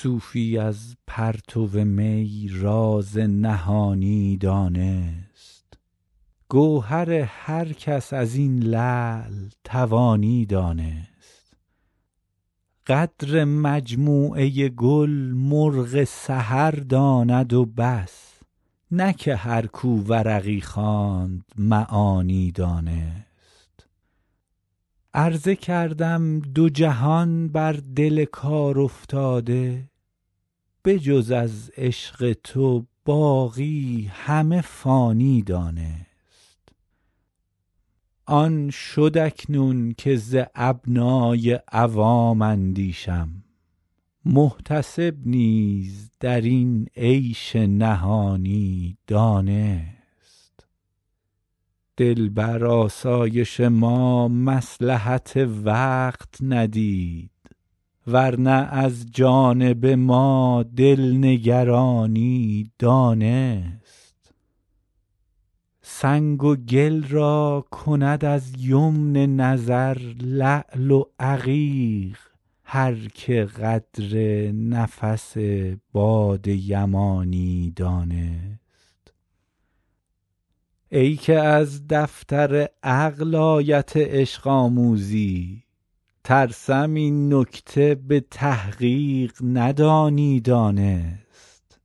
صوفی از پرتو می راز نهانی دانست گوهر هر کس از این لعل توانی دانست قدر مجموعه گل مرغ سحر داند و بس که نه هر کو ورقی خواند معانی دانست عرضه کردم دو جهان بر دل کارافتاده به جز از عشق تو باقی همه فانی دانست آن شد اکنون که ز ابنای عوام اندیشم محتسب نیز در این عیش نهانی دانست دل بر آسایش ما مصلحت وقت ندید ور نه از جانب ما دل نگرانی دانست سنگ و گل را کند از یمن نظر لعل و عقیق هر که قدر نفس باد یمانی دانست ای که از دفتر عقل آیت عشق آموزی ترسم این نکته به تحقیق ندانی دانست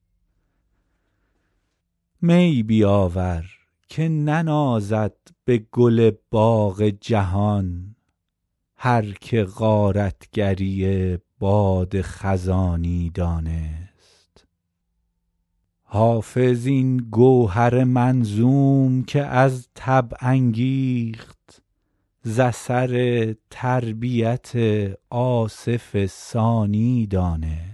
می بیاور که ننازد به گل باغ جهان هر که غارت گری باد خزانی دانست حافظ این گوهر منظوم که از طبع انگیخت ز اثر تربیت آصف ثانی دانست